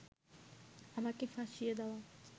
আমাকে ফাঁসিয়ে দেওয়া